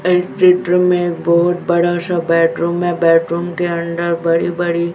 इस चित्र में बहोत बड़ा सा बेडरूम है बेडरूम के अंदर बड़ी बड़ी--